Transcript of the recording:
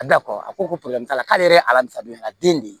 A bila kɔrɔ a ko porobilɛmu t'a la k'ale ye ala ta don a den de ye